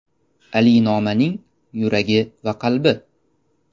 Ali Noma’ning yuragi va qalbi.